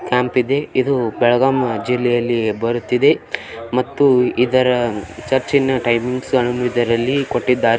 ಇದು ಬೆಳಗಾಂ ಜಿಲ್ಲೆಯಲ್ಲಿ ಬರುತ್ತಿದೆ ಮತ್ತು ಇದರ ಚುರ್ಚ್ನ ಟೈಮಿಂಗ್ಸ್ ಇದರಲ್ಲಿ ಕೊಟ್ಟಿದ್ದಾರೆ .